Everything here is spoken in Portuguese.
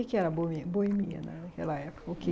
O que era bo boemia naquela época? O que,